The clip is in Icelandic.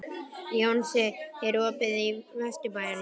Jónsi, er opið í Vesturbæjarís?